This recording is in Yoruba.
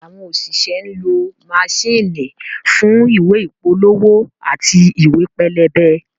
Àwọn òṣìṣẹ́ ń lọ maṣíìnì fún ìwé ìpolówó àti ìwé pẹlẹbẹ